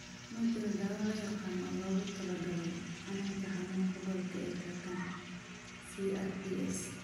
Ma jiro dawo la yaqaan oo loogu talagalay xanuunka xanuunka gobolka ee kakan (CRPS).